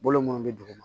Bolo munnu bɛ duguma